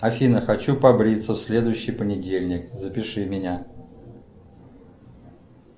афина хочу побриться в следующий понедельник запиши меня